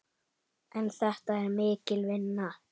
En þetta er mikil vinna.